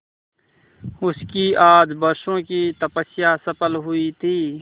उसकी आज बरसों की तपस्या सफल हुई थी